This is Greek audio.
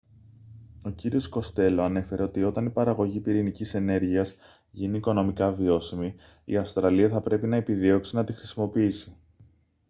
ο κύριος κοστέλο ανέφερε ότι όταν η παραγωγή πυρηνικής ενέργειας γίνει οικονομικά βιώσιμη η αυστραλία θα πρέπει να επιδιώξει να τη χρησιμοποιήσει